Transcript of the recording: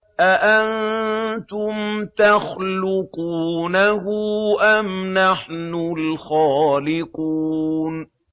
أَأَنتُمْ تَخْلُقُونَهُ أَمْ نَحْنُ الْخَالِقُونَ